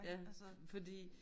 Ja fordi